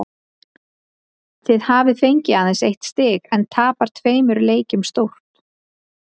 Þið hafið fengið aðeins eitt stig en tapað tveimur leikjum stórt?